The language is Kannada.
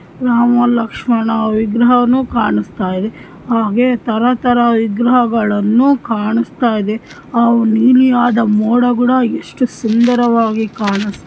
ರಾಮ ಲಕ್ಶ್ಮಣ ವಿಗ್ರಹನು ಕಾಣಿಸ್ತದೆ ಹಾಗೆ ತಾರಾ ತಾರಾ ವಿಗ್ರಹಗಳ್ಳನು ಕಾಣಿಸ್ತಾಯಿದೆ ಅವು ನೀಲಿಯಾದ ಮೋಡ ಗುದ ಎಷ್ಟು ಸುಂದರವಾಗಿ ಕಾಣಿಸ್ತಾದಿ.